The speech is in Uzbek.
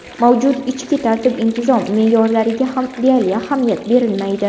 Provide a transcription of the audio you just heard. Mavjud ichki tartib-intizom me’yorlariga ham deyarli ahamiyat berilmaydi.